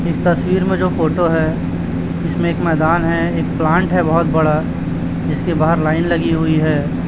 इस तस्वीर मे जो फोटो है इसमें एक मैदान है एक प्लांट है बहोत बड़ा जिसके बाहर लाइन लगी हुई है।